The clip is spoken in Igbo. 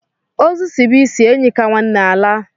Ozu sibe isi, enyi ka nwanne alaa.